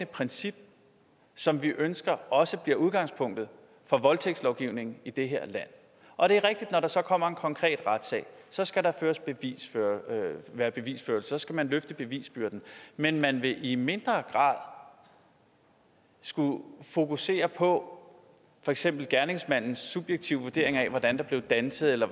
princip som vi ønsker også bliver udgangspunktet for voldtægtslovgivningen i det her land og det er rigtigt at når der så kommer en konkret retssag så skal der være bevisførelse så skal man løfte bevisbyrden men man vil i mindre grad skulle fokusere på for eksempel gerningsmandens subjektive vurdering af hvordan der blev danset eller